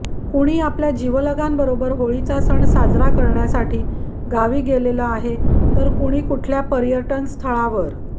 कुणी आपल्या जीवलगांबरोबर होळीचा सण साजरा करण्यासाठी गावी गेलेलं आहे तर कुणी कुठल्या पर्यटनस्थळावर